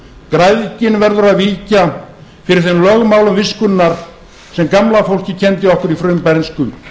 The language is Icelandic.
græðgin verður að víkja fyrir þeim lögmálum viskunnar sem gamla fólkið kenndi okkur í frumbernsku